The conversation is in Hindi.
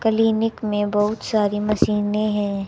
क्लीनिक में बहुत सारी मशीने है।